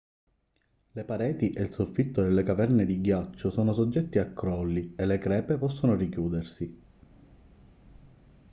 le pareti e il soffitto delle caverne di ghiaccio sono soggetti a crolli e le crepe possono richiudersi